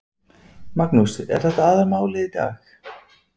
Magnús: Er þetta aðalmálið í dag?